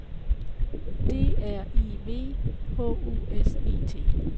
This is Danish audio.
D R I V H U S E T